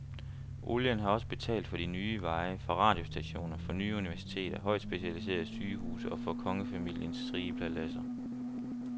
Olien har også betalt for de ny veje, for radiostationer, for nye universiteter, højt specialiserede sygehuse og for kongefamiliens rige paladser.